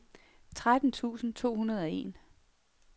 tretten tusind to hundrede og en